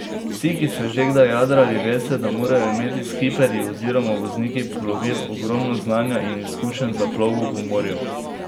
Vsi, ki ste že kdaj jadrali, veste, da morajo imeti skipperji oziroma vozniki plovil, ogromno znanja in izkušenj za plovbo po morju.